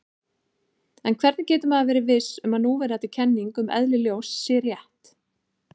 En hvernig getur maður verið viss um að núverandi kenning um eðli ljós sé rétt?